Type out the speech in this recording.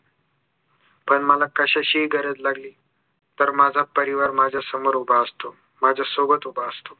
पण मला कशाचीही गरज लागली तर माझा परिवार माझ्या समोर उभा असतो माझ्या सोबत उभा असतो